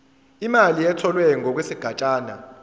imali etholwe ngokwesigatshana